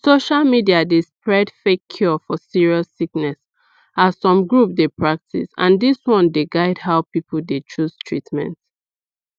social media dey spread fake cure for serious sickness as some groups dey practice and dis one dey guide how people dey chose treatment